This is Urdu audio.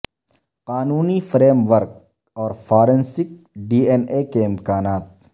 قانونی فریم ورک اور فارنسک ڈی این اے کے امکانات